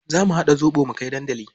Za mu haɗa zobo mu kai dandali.